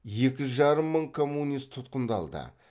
екі жарым мың коммунист тұтқындалды